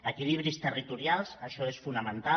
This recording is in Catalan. equilibris territorials això és fonamental